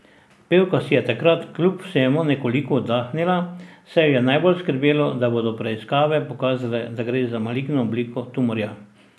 Pevka pa si je takrat kljub vsemu nekoliko oddahnila, saj jo je najbolj skrbelo, da bodo preiskave pokazale, da gre za maligno obliko tumorja.